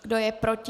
Kdo je proti?